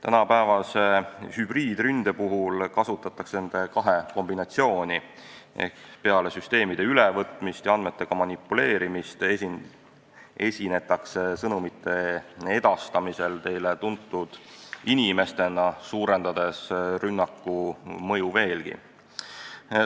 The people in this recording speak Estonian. Tänapäevase hübriidründe puhul kasutatakse nende kahe kombinatsiooni: peale süsteemide ülevõtmist ja andmetega manipuleerimist esinetakse sõnumite edastamisel teile tuntud inimestena, suurendades rünnaku mõju veel.